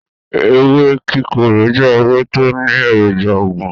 Ewé kíkorò jẹ́ ewé tó ní èròjà oògùn.